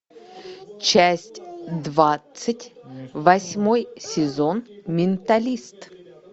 часть двадцать восьмой сезон менталист